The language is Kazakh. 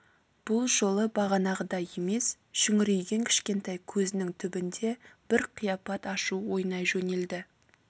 бұл жолы бағанағыдай емес шүңірейген кішкентай көзінің түбінде бір қияпат ашу ойнай жөнелді